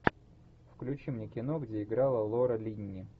включи мне кино где играла лора линни